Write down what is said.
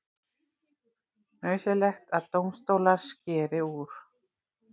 Nauðsynlegt að dómstólar skeri úr